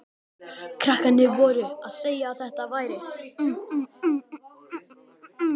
Krakkarnir voru að segja að þetta væri